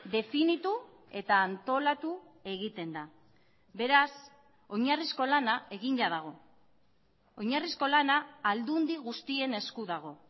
definitu eta antolatu egiten da beraz oinarrizko lana egina dago oinarrizko lana aldundi guztien esku dago